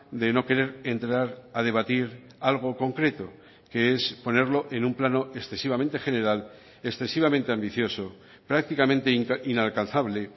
de no querer entrar a debatir algo concreto que es ponerlo en un plano excesivamente general excesivamente ambicioso prácticamente inalcanzable